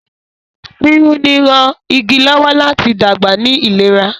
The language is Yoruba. piruni rán ìgi lọwọ láti dàgbà ní ìlera.